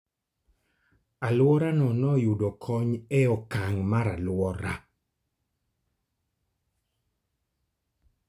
Alworano noyudo kony e okang' mar alwora.